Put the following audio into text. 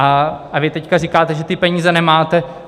A vy teď říkáte, že ty peníze nemáte.